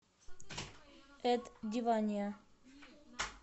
эд дивания